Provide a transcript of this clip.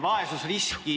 Küsimus, palun!